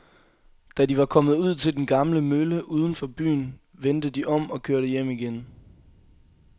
Da de var kommet ud til den gamle mølle uden for byen, vendte de om og kørte hjem igen.